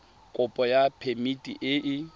kopo ya phemiti e e